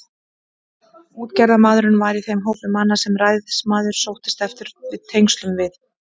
Útgerðarmaðurinn var í þeim hópi manna, sem ræðismaðurinn sóttist eftir tengslum við.